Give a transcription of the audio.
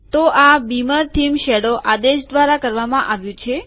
તો આ beamer theme shadow આદેશ દ્વારા કરવામાં આવ્યું છે